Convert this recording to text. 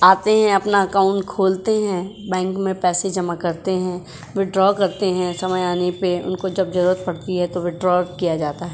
आते हैं अपना अकाउंट खोलते हैं बैंक में पैसे जमा करते हैं। विथद्रव करते हैं समय आने पर उनको जब जरूरत पड़ती है तो विथद्रव किया जाता है।